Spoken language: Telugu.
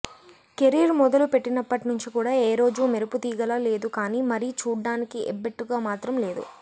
కెరీర్ మొదలు పెట్టినప్పట్నుంచి కూడా ఏ రోజు మెరపుతీగలా లేదు కానీ మరీ చూడ్డానికి ఎబ్బెట్టుగా మాత్రం లేదు